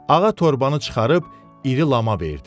Ağa torbanı çıxarıb iri lama verdi.